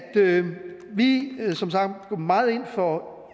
vi som sagt går meget ind for